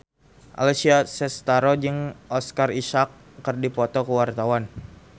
Alessia Cestaro jeung Oscar Isaac keur dipoto ku wartawan